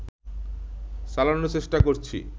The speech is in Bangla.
চালানোর চেষ্টা করছি